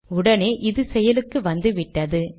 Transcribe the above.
உடனேயே இது செயலுக்கு வந்துவிட்டது